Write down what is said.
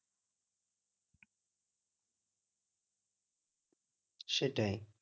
সেটাই